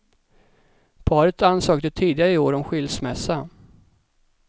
Paret ansökte tidigare i år om skilsmässa.